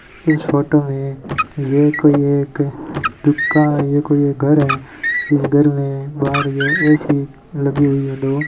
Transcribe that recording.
इस फोटो में ये कोई एक दुका ये कोई एक घर है उस घर में बाहर ए_सी लगी हुई है दो।